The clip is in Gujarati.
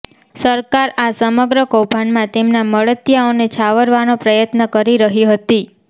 સરકાર આ સમગ્ર કૌભાંડમાં તેમના મળતિયાઓને છાવરવાનો પ્રયત્ન કરી રહી હતી